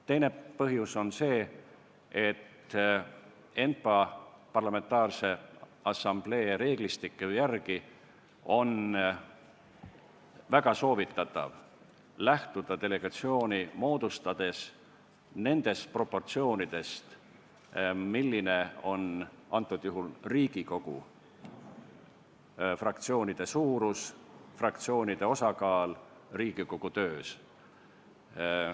Teine põhjus on see, et ENPA reeglistiku järgi on väga soovitatav lähtuda delegatsiooni moodustades nendest proportsioonidest, milline on antud juhul Riigikogu fraktsioonide suurus, fraktsioonide osakaal Riigikogu töös.